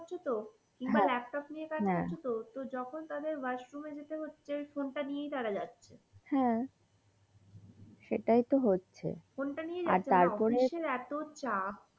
আছে তো কিংবা ল্যাপটপ নিয়ে কাজ করছে তো যখন তাদের washroom এ যেতে হচ্ছে ফোন তা নিয়ে তারা যাচ্ছে ফোন তা নিয়ে আর তারপরে এতো চাপ.